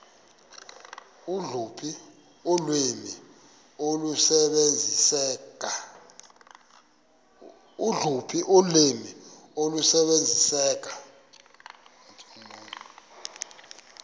loluphi ulwimi olusebenziseka